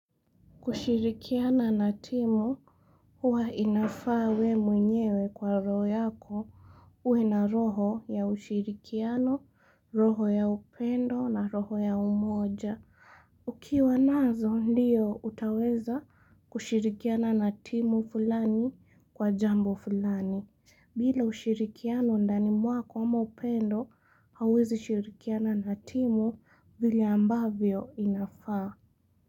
Kushirikiana na timu huwa inafaa we mwenyewe kwa roho yako uwe na roho ya ushirikiano, roho ya upendo na roho ya umoja. Ukiwa nazo ndiyo utaweza kushirikiana na timu fulani kwa jambo fulani. Bila ushirikiano ndani mwako ama upendo hauwezi shirikiana na timu vile ambavyo inafaa.